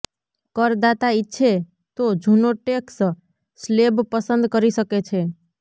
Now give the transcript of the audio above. કરદાતા ઈચ્છે તો જૂનો ટેકસ સ્લેબ પસંદ કરી શકે છે